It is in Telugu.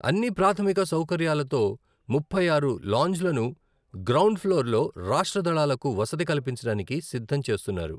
అన్ని ప్రాథమిక సౌకర్యాలతో ముప్పై ఆరు లాంజ్లను గ్రౌండ్ ఫ్లోర్లో రాష్ట్ర దళాలకు వసతి కల్పించడానికి సిద్ధం చేస్తున్నారు.